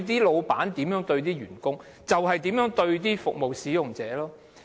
老闆如何對待，員工便如何對待服務使用者。